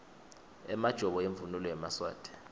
emajobo imvunulo yemaswati